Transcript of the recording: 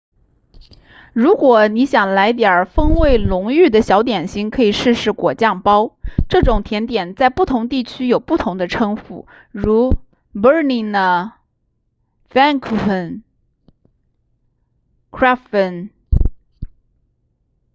如果你想来点风味浓郁的小点心可以试试果酱包这种甜点在不同地区有不同的称呼如 berliner pfannkuchen krapfen